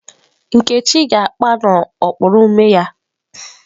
Nkechi ga na-akpa n'okpuru ume ya.